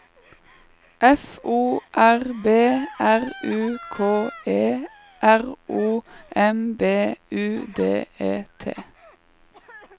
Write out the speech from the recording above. F O R B R U K E R O M B U D E T